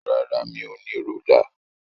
Rárá, mi ò ní rúlà.